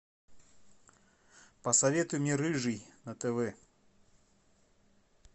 посоветуй мне рыжий на тв